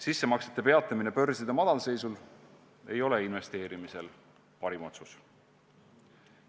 Sissemaksete peatamine börside madalseisus ei ole investeerimisel parim otsus.